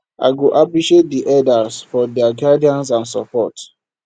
i go appreciate di elders for their guidance and support